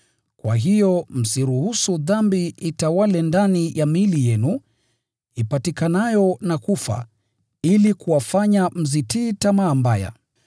Kwa hiyo, msiruhusu dhambi itawale ndani ya miili yenu, ipatikanayo na kufa, ili kuwafanya mzitii tamaa mbaya.